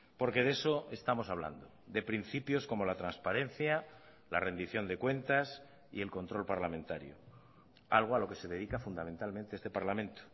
porque de eso estamos hablando de principios como la transparencia la rendición de cuentas y el control parlamentario algo a lo que se dedica fundamentalmente este parlamento